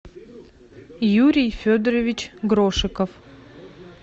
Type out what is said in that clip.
юрий федорович грошиков